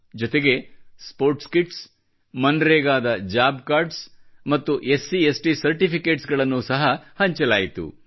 ಜೊತೆಗೆ sports kits ಮನ್ರೆಗಾದ job cards ಮತ್ತು SCST ಸರ್ಟಿಫಿಕೇಟ್ಸ್ ಗಳನ್ನು ಸಹಾ ಹಂಚಲಾಯಿತು